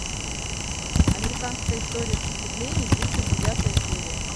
американская история преступлений тридцать девятая серия